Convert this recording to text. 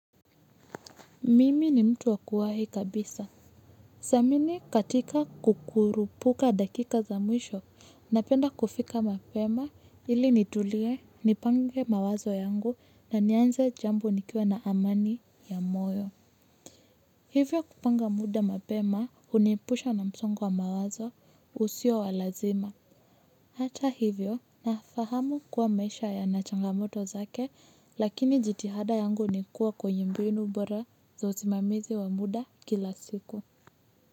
Mimi ni mtu wakuwa hii kabisa. Siamini katika kukuru puka dakika za mwisho, napenda kufika mapema ili nitulie, nipange mawazo yangu na nianze jambo nikiwa na amani ya moyo. Hivyo kupanga muda mapema uniepusha na msongo wa mawazo usio walazima. Hata hivyo, nafahamu kuwa maisha ya nachangamoto zake, lakini jitihada yangu nikua kwenye mbinu bora za uzimamizi wa muda. Kila siku.